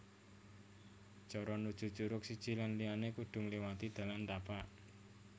Cara nuju curug siji lan liyané kudu ngléwati dalan tapak